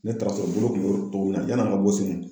Ne taara sɔrɔ bolo kun bɛ cogo min na yanni an ka bɔ Senu